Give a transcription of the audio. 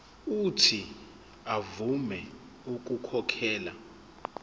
uuthi avume ukukhokhela